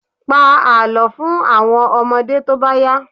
Pa àlọ́ fún àwọn ọmọdé tó bá yá.